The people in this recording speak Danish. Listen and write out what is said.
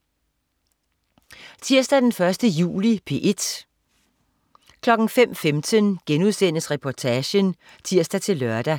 Tirsdag den 1. juli - P1: